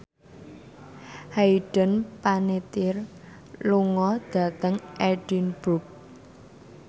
Hayden Panettiere lunga dhateng Edinburgh